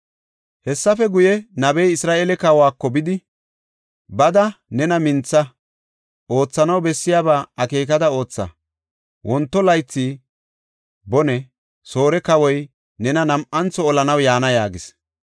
Hessafe guye, nabey Isra7eele kawako bidi, “Bada nena mintha. Oothanaw bessiyaba akeekada ootha. Wonto laythi bone Soore kawoy nena nam7antho olanaw yaana” yaagis.